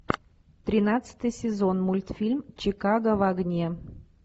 тринадцатый сезон мультфильм чикаго в огне